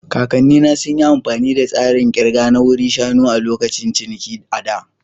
Kakannina sun yi amfani da tsarin ƙirga na wuri shanu a lokacin ciniki a da.